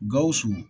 Gawusu